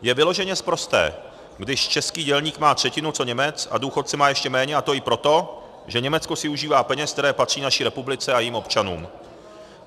Je vyloženě sprosté, když český dělník má třetinu co Němec a důchodce má ještě méně, a to i proto, že Německo si užívá peněz, které patří naší republice a jejím občanům.